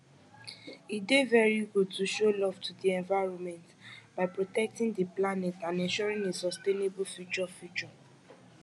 e dey very good to show love to di environment by protectng di planet and ensuring a sustainable future future